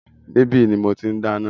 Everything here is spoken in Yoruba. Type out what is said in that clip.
Ní ibi yìí ní mọ tí n dáná